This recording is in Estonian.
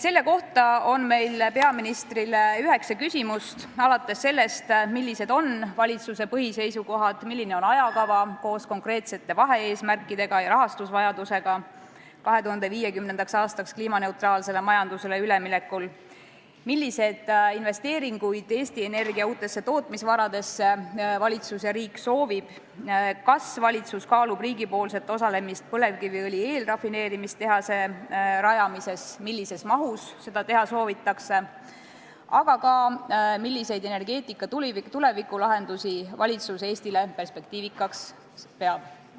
Selle kohta on meil peaministrile üheksa küsimust: millised on valitsuse põhiseisukohad, milline on ajakava koos konkreetsete vahe-eesmärkidega ja rahastusvajadusega 2050. aastaks kliimaneutraalsele majandusele üleminekul, milliseid investeeringuid Eesti Energia uutesse tootmisvaradesse valitsus ja riik soovivad, kas valitsus kaalub riigi osalemist põlevkiviõli eelrafineerimistehase rajamises, millises mahus seda teha soovitakse, aga ka milliseid energeetika tulevikulahendusi valitsus Eestile perspektiivikaks peab?